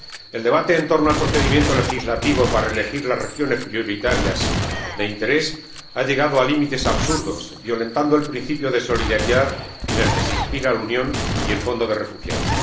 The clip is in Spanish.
El debate en torno al procedimiento legislativo para elegir las regiones prioritarias de interés ha llegado a límites absurdos, violentando el principio de solidaridad en el que se inspiran la Unión y el Fondo Europeo para los Refugiados.